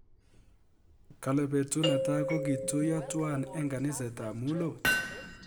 Kale petut netai ko kituiyo twai eng kaniset ap mulot